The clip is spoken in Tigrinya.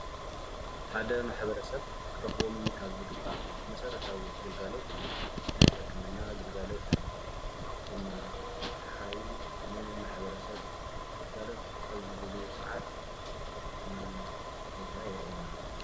ሓደ ማሕበረሰብ ክረክቦም ካብ ዝግባእ መሰረታዊ ግልጋሎት ናይ ሕክምና ግልጋሎት እዩ። እዚ ድማ ሓካይም ን ማሕበረሰብ ግልጋሎት ኣብዝህብሉ ሰዓት ናይ ሕክምና ቦታ የርእየና።